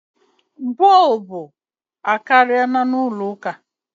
Bulbu abaka n ulọ ụka